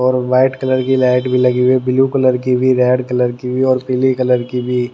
और एक white colour की लाइट भी लगी हुई ब्लू कलर की भी रेड कलर की भी और पीली कलर की भी--